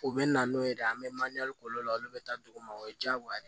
U bɛ na n'o ye de an bɛ k'olu la olu bɛ taa dugu ma o ye diyagoya ye